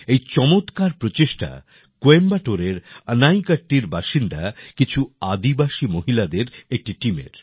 এই চমৎকার প্রচেষ্টা কইম্বেটরে এর আনাইকাত্তি র বাসিন্দা কিছু আদিবাসী মহিলাদের একটি টিমের